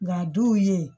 Nga duw ye